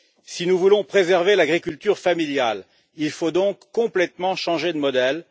Si nous voulons préserver l'agriculture familiale, il faut donc complètement changer de modèle.